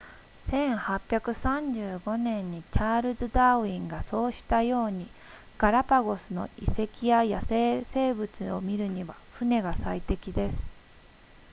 1835年にチャールズダーウィンがそうしたようにガラパゴスの遺跡や野生生物を見るには船が最適です